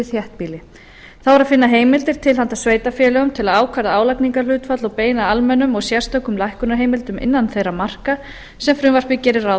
þéttbýli þá er að finna heimildir til handa sveitarfélögum til að ákvarða álagningarhlutfall og beina almennum og sérstökum lækkunarheimildum innan þeirra marka sem frumvarpið gerir ráð